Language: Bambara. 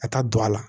A ka don a la